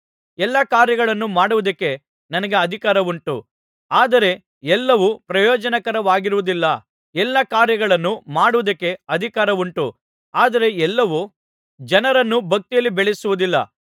ಎಲ್ಲಾ ಕಾರ್ಯಗಳನ್ನು ಮಾಡುವುದಕ್ಕೆ ನನಗೆ ಅಧಿಕಾರವುಂಟು ಆದರೆ ಎಲ್ಲವೂ ಪ್ರಯೋಜನಕರವಾಗಿರುವುದಿಲ್ಲ ಎಲ್ಲಾ ಕಾರ್ಯಗಳನ್ನು ಮಾಡುವುದಕ್ಕೆ ಅಧಿಕಾರವುಂಟು ಆದರೆ ಎಲ್ಲವೂ ಜನರನ್ನು ಭಕ್ತಿಯಲ್ಲಿ ಬೆಳೆಸುವುದಿಲ್ಲ